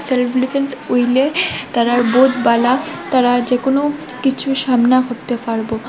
Self defence উইলে তারা বোধ বালা তারা যেকোনো কিছু সামনা করতে পারব।